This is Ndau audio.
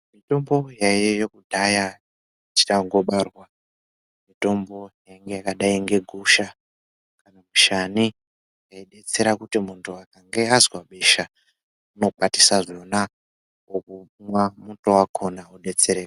Mutombo yaiyeyo kudhaya tichangobarwa mutombo yainge yakadai ngegusha mushane yaidetsera kuti kana muntu akange azwe besha unokwatisa zvona omwa muto wakona odetsereka